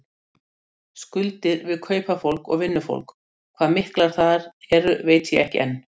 Skuldir við kaupafólk og vinnufólk, hvað miklar þær eru veit ég ekki enn.